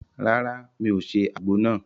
Ràrá, mí o se àgbo nàá